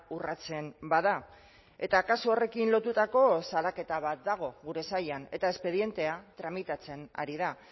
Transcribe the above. urratzen bada eta kasu horrekin lotutako salaketa bat dago gure sailan eta espedientea tramitatzen ari da